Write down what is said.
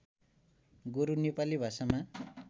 गोरु नेपाली भाषामा